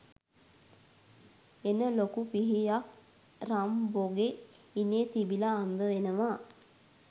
හෙන ලොකු පිහියක් රම්බෝගේ ඉනේ තිබිලා හම්බවෙනවා